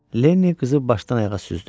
Lenni qızı başdan ayağa süzdü.